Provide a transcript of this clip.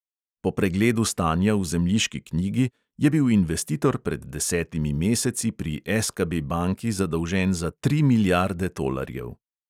Po pregledu stanja v zemljiški knjigi je bil investitor pred desetimi meseci pri SKB banki zadolžen za tri milijarde tolarjev.